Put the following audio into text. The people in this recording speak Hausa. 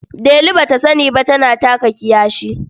Delu ba ta sani ba ta taka kiyashi.